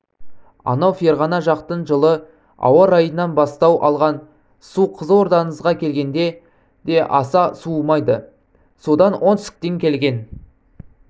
анау ферғана жақтың жылы ауа-райынан бастау алған су қызылордаңызға келгенде де аса суымайды содан оңтүстіктен келген